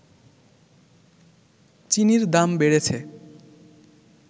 চিনির দাম বেড়েছে